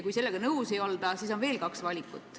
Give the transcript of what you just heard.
Kui sellega nõus ei olda, siis on veel kaks valikut.